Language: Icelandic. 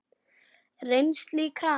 Rennsli í krana!